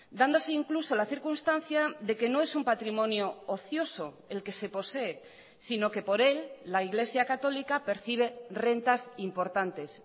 dándose incluso la circunstancia de que no es un patrimonio ocioso el que se posee sino que por él la iglesia católica percibe rentas importantes